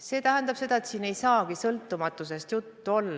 See tähendab seda, et siin ei saa sõltumatusest juttu olla.